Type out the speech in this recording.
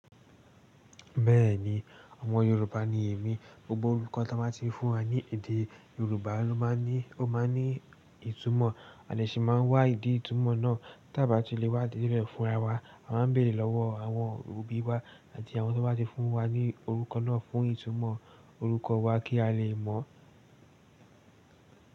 Bẹ́ẹ̀ni, ọmọ Yorùbá ni èmi. Gbogbo orúkọ tí wọ́n bá ti fún wa ní èdè Yorùbá ló máa ń ní, ó máa ń ní ìtumọ̀. A dẹ̀ sì máa wá ìdí itunmọ̀ náà, tá bá ti lè wá ìdí rẹ̀ fúnra wa. A máa ń bèèrè lọ́wọ́ àwọn òbí wa àti àwọn tí wọ́n bá ti fún wa ní orúkọ náà fún ìtumọ̀ orúkọ wa kí a lè mọ̀.